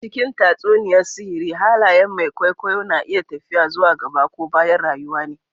A cikin tatsuniyar sihiri haliyen mai kwaikwayo na iya tafiya zuwa gaɓa ko ɓaya rayuwa ne.